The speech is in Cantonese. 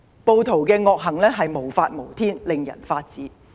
暴徒的惡行無法無天，令人髮指。